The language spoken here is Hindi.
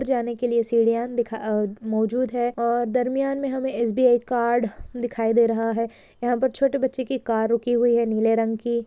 जाने के लिए सिडिया मौजूद है। दरम्यान मै हम एसबीआई कार्ड दिखाई दे रहा है। यहा पे छोटे बच्चे की कार रुकी हुई है नीले रंग की।